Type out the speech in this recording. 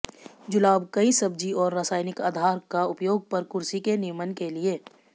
जुलाब कई सब्जी और रासायनिक आधार का उपयोग कर कुर्सी के नियमन के लिए